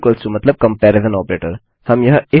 2to मतलब comparison operator